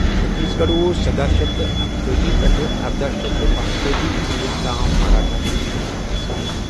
چھتیس گڑھ اوس سداہ شتھ اکتٲجی پٮ۪ٹھٕ ارداہ شتھ پانژتٲجی عیسویس تام مراٹھا کِس حکومتس منٛز۔